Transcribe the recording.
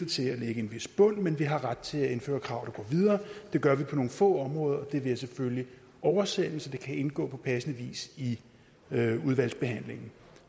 til at lægge en vis bund men vi har ret til at indføre krav der videre det gør vi på nogle få områder det vil jeg selvfølgelig oversende så det kan indgå på passende vis i udvalgsbehandlingen